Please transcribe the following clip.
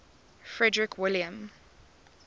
frederick william